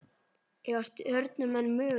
Eiga Stjörnumenn möguleika?